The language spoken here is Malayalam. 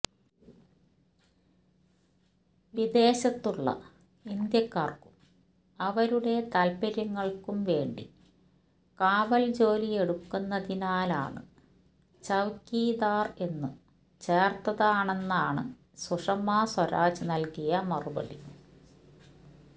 വിദേശത്തുള്ള ഇന്ത്യക്കാര്ക്കും അവരുടെ താല്പര്യങ്ങള്ക്കും വേണ്ടി കാവല് ജോലിയെടുക്കുന്നതിനാലാണ് ചൌക്കീദാര് എന്നു ചേര്ത്തതാണെന്നാണ് സുഷമാ സ്വരാജ് നല്കിയ മറുപടി